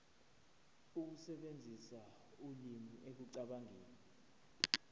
ukusebenzisa ulimi ekucabangeni